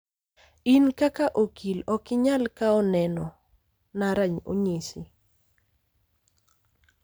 in kaka okil ok inyal kawo neno na onyisi